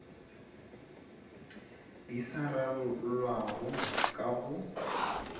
di sa rarollwago ka go